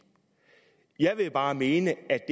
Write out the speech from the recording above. jeg vil bare mene at